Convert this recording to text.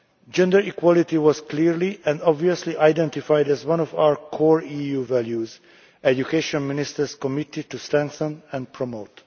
Gender equality was clearly and obviously identified as one of our core EU values that education ministers committed to strengthen and promote.